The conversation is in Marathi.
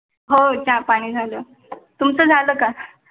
हो चा पाणी झालं. तुमचं झालं का